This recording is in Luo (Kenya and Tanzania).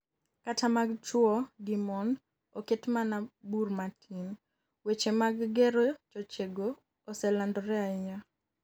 kata mag chuwo gi mon, oket mana bur matin, weche mag gero chochego oselandore ahinya